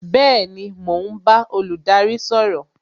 Bẹẹni, mo ń bá olùdarí sọ̀rọ̀